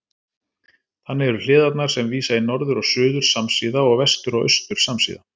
Þannig eru hliðarnar sem vísa í norður og suður samsíða og vestur og austur samsíða.